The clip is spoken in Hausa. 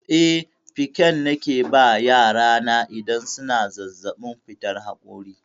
Eh, pikan nake ba yara na idan suna zazzaɓin fitar haƙora.